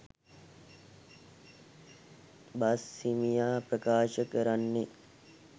බස්හිමියා ප්‍රකාශ කරන්නේ